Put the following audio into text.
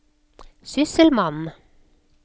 sysselmann